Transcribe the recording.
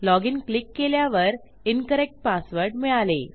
login click केल्यावर incorrect password मिळाले